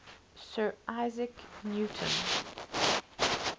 sir isaac newton